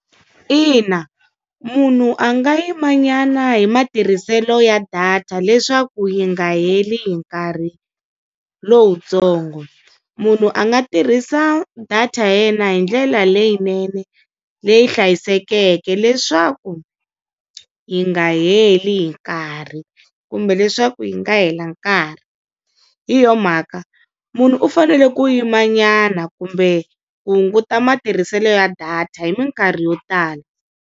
Ina munhu a nga yimanyana hi matirhiselo ya data leswaku yi nga heli hi nkarhi lowutsongo. Munhu a nga tirhisa data ya yena hi ndlela leyinene leyi hlayisekeke, leswaku yi nga heli hi nkarhi kumbe leswaku yi nga hela nkarhi hi yo mhaka munhu u fanele ku yimanyana kumbe ku hunguta matirhiselo ya data hi minkarhi yo tala.